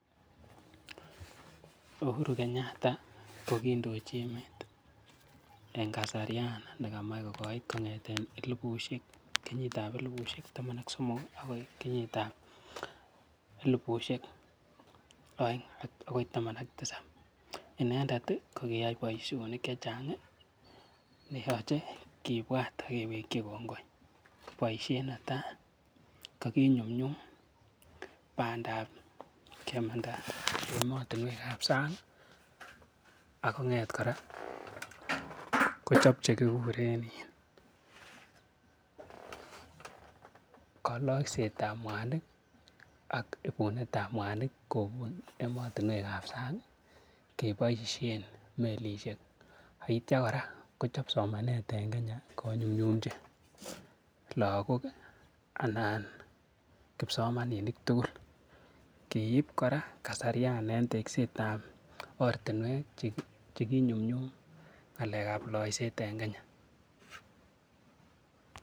Uhuru Kenyatta kokindochi emet en kasarian nekamatch kokoit kong'eten kenyitab elibusiek taman ak somok ih, akoi kenyitab elibusiek aeng akoi taman ak tisab, inendet ih kokiyai boisionik chechang ih neyache kibwat agewekchi kongoi, boisiet netai ko kikyumnyum bandab kemanda emotinuek kab sang ih Ako ng'et kora Kochab chekikuren ih koalaksetab mwanik ih ak ibunetab mwanik en emotinuekab sang ak itya kora Kochab somanet konyunyuchi lakok anan kipsomaninik tugul. Kiib kora kasarian en tekstet tab oret cheki inyumnyum ng'alekab loiset en Kenya